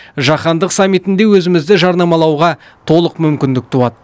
жаһандық саммитінде өзімізді жарнамалауға толық мүмкіндік туады